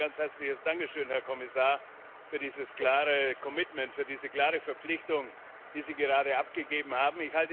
Zunächst mein ganz herzliches Dankeschön, Herr Kommissar, für dieses klare für diese klare Verpflichtung, die Sie gerade abgegeben haben.